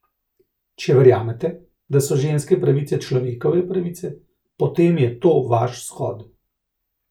Če verjamete, da so ženske pravice človekove pravice, potem je to vaš shod.